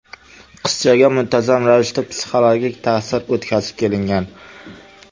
Qizchaga muntazam ravishda psixologik ta’sir o‘tkazib kelingan.